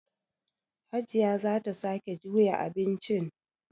Hajiya za ta sake juya abincin.